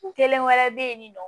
Kelen wɛrɛ bɛ yen nin nɔ